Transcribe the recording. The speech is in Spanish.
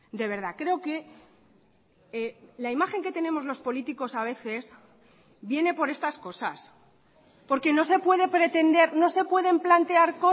de verdad creo que la imagen que tenemos los políticos a veces viene por estas cosas porque no se puede pretender no se pueden plantear